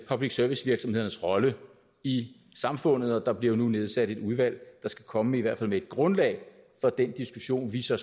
public service virksomhedernes rolle i samfundet og der bliver nu nedsat et udvalg der skal komme med i hvert fald et grundlag for den diskussion vi så